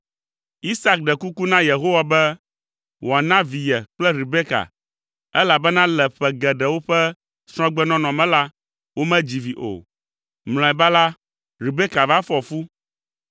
Isak ɖe kuku na Yehowa be wòana vi ye kple Rebeka, elabena le ƒe geɖewo ƒe srɔ̃gbenɔnɔ me la, womedzi vi o. Mlɔeba la, Rebeka va fɔ fu.